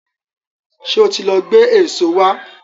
Ṣé ó ti lọ gbé èso wá?